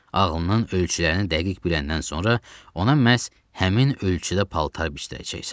Ağlının ölçülərini dəqiq biləndən sonra, ona məhz həmin ölçüdə paltar biçdirəcəksən.